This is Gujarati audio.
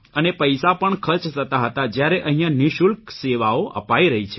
અને પૈસા પણ ખર્ચ થતા હતા જયારે અહિંયા નિઃશુલ્ક સેવાઓ અપાઇ રહી છે